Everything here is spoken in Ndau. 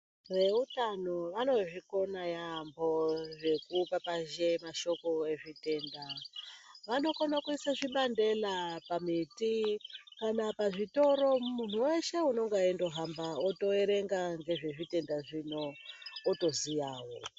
Veutano vanozvikona yampho zvekupapazhe mashoko ezvitenda vanokone kuisa zvibandela pamiti kana pazvitoro muntu weshe unonga weindohamba otoerenga ngezvezvitenda zvino otoziyawo.